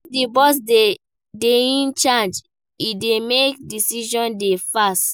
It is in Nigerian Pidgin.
If di boss dey in charge e dey make decision dey fast